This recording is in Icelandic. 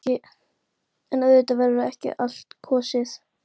En auðvitað verður ekki á allt kosið.